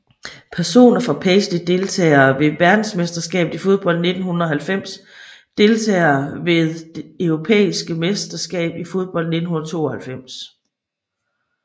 Personer fra Paisley Deltagere ved verdensmesterskabet i fodbold 1990 Deltagere ved det europæiske mesterskab i fodbold 1992